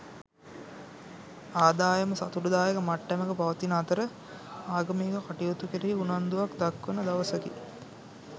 ආදායම සතුටුදායක මට්ටමක පවතින අතර ආගමික කටයුතු කෙරෙහි උනන්දුවක් දක්වන දවසකි.